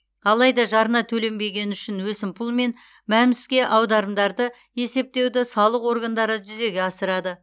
алайда жарна төленбегені үшін өсімпұл мен мәмс ке аударымдарды есептеуді салық органдары жүзеге асырады